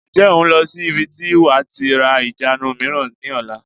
Ǹjẹ́ o n lọ sí ibi tí wàá tí ra ìjánu mìíràn ni ọ̀la?